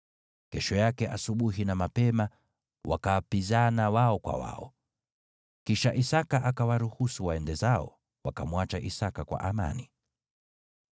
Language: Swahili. Kesho yake asubuhi na mapema, wakaapizana wao kwa wao. Kisha Isaki akawaruhusu waende zao, wakamwacha Isaki kwa amani.